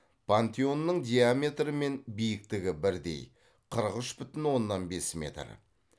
пантеонның диаметрі мен биіктігі бірдей қырық үш бүтін оннан бес метр